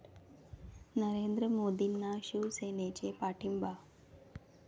नरेंद्र मोदींना शिवसेनेचा पाठिंबा